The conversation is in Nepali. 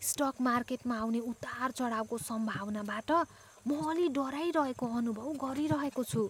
स्टक मार्केटमा आउने उतार चढाउको सम्भावनाबाट म अलि डराइरहेको अनुभव गरिरहेको छु।